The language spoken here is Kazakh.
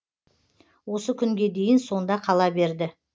осы күнге дейін сонда қала берді